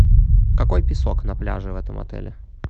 какой песок на пляже в этом отеле